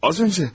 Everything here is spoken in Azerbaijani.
Az öncə.